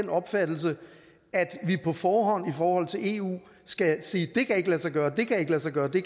den opfattelse at vi på forhånd i forhold til eu skal sige det kan ikke lade sig gøre og det kan ikke lade sig gøre vi